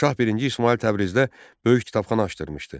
Şah birinci İsmayıl Təbrizdə böyük kitabxana açdırmışdı.